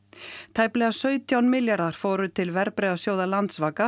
tæplega sautján milljarðar fóru til verðbréfasjóða